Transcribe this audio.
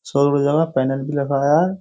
शोर बजा में पेनल भी लगाया है।